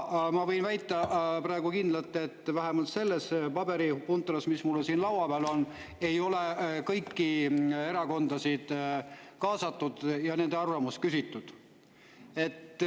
Ma võin praegu kindlalt väita, vähemalt selle paberipuntra järgi, mis mul siin laua peal on, et kõiki erakondasid ei ole kaasatud ja nende arvamust ei ole küsitud.